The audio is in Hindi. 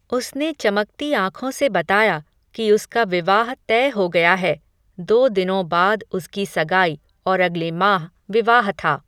उसने चमकती आँखों से बताया, कि उसका विवाह तय हो गया है, दो दिनों बाद उसकी सगाई, और अगले माह, विवाह था